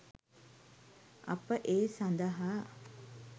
අප ඒ සඳහා